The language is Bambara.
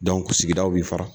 sigidaw b'i fara.